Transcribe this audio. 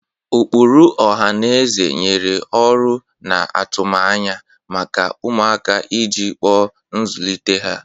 Ụkpụrụ ọha na eze nyere ọrụ na atụmanya maka ụmụaka iji kpuo nzụlite ha.